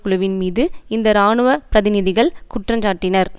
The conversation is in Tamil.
குழுவின் மீது இந்த இராணுவ பிரதிநிதிகள் குற்றஞ்சாட்டினர்